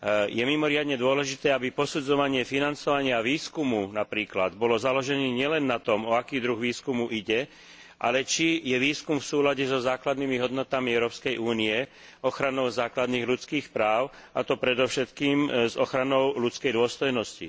Je mimoriadne dôležité, aby napríklad posudzovanie financovania výskumu bolo založené nielen na tom, o aký druh výskumu ide, ale či je výskum v súlade so základnými hodnotami Európskej únie, ochranou základných ľudských práv, a to predovšetkým s ochranou ľudskej dôstojnosti.